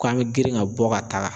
Ko an mɛ girin ka bɔ ka taa.